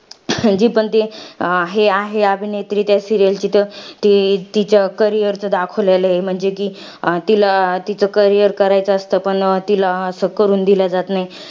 जी पण ती अभिनेत्री आहे त्या serial ची, ती तिच्या career चं दाखवलेलं आहे. म्हणजे कि, तिला तिचं career करायचं असतं, पण तिला असं करून दिलं जात नाही.